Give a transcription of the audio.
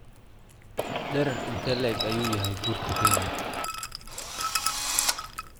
Dherer intee le'eg ayuu yahay Buurta Kenya?